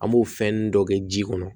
An b'o fɛnnin dɔ kɛ ji kɔnɔ